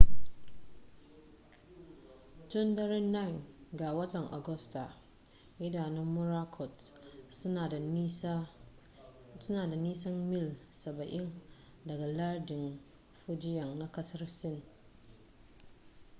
tun daren 9 ga watan agusta idanun morakot suna da nisan mil saba'in daga lardin fujian na kasar sin